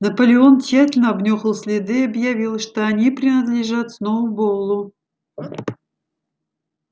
наполеон тщательно обнюхал следы и объявил что они принадлежат сноуболлу